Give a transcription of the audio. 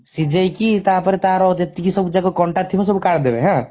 ସିଜେଇକି ତାପରେ ତାର ଯେତେକି ସବୁ ଯାକ କଣ୍ଟା ଥିବ ସବୁ କାଢିଦେବେ ହାଁ